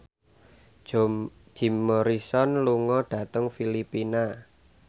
Jim Morrison lunga dhateng Filipina